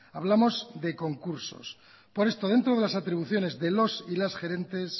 hablamos de concursos por esto dentro de las atribuciones de los y las gerentes